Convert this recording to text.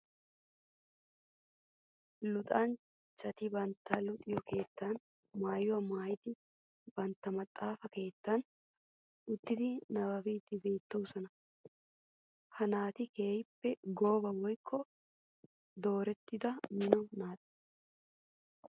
Luxanchchatti bantta luxetta keetta maayuwa maayiddi bantta maxafa keettan uttiddi nababbiddi beetosonna. Ha naati keehippe gooba woykko doorettidda mino naata.